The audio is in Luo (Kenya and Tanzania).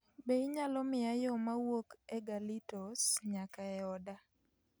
Be inyalo miya yo ma wuok e galitos nyaka e oda